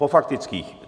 Po faktických.